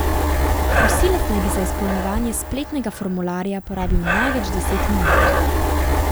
Prosilec naj bi za izpolnjevanje spletnega formularja porabil največ deset minut.